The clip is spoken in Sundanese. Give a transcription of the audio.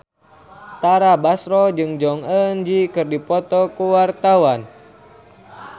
Tara Basro jeung Jong Eun Ji keur dipoto ku wartawan